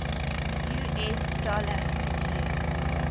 us dollar is used